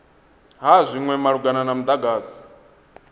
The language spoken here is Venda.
ha zwinwe malugana na mudagasi